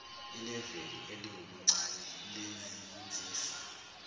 ileveli eliwubuncane lezinsiza